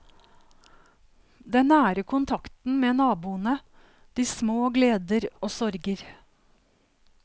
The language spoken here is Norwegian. Den nære kontakten med naboene, de små gleder og sorger.